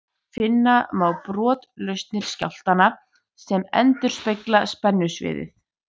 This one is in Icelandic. Finna má brotlausnir skjálftanna sem endurspegla spennusviðið.